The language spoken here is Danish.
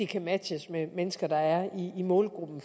kan matches med mennesker der er i målgruppen